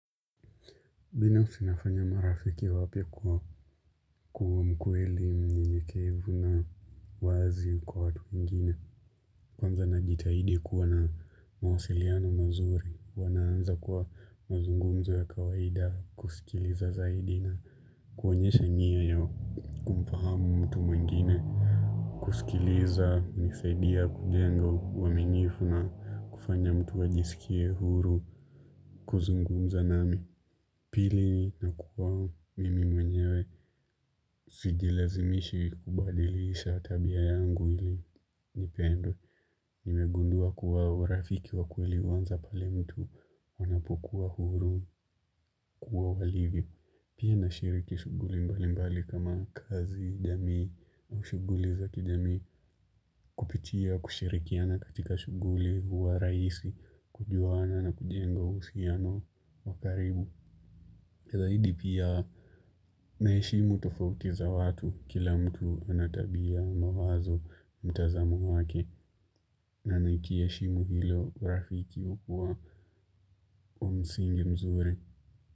Bina usinafanya marafiki wapia kuwa mkweli mnye keivu na wazi kwa watu wengine. Kwanza na jitahidi kuwa na mawasiliano mazuri. Wanaanza kuwa mazungumzo ya kawaida kusikiliza zaidi na kuonyesha niya ya kumfahamu mtu mwingine. Kusikiliza ni saidia kujenga waminifu na kufanya mtu wajisikie huru. Kuzungumza nami. Pili na kuwa mimi mwenyewe sijilazimishi kubadilisha tabia yangu ili nipendwe. Nimegundua kuwa urafiki wa kweli huwanza pale mtu wanapokuwa huru kuwa walivi. Pia na shiriki shuguli mbali mbali kama kazi, jamii, na shuguli za kijamii. Kupitia kushirikiana katika shuguli wa rahisi, kujuana na kujengo usiano wakaribu. Zaidi pia naheshimu tofautiza watu kila mtu anatabia, mawazo mtazamu wake na naikieshimu hilo rafiki upuwa wa msingi mzuri.